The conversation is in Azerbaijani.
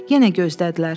Yenə gözlədilər.